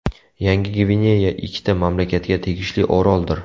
Yangi Gvineya ikkita mamlakatga tegishli oroldir.